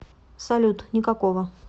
салют никакого